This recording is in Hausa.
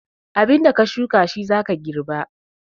Abinda ka shuka shi za ka girba.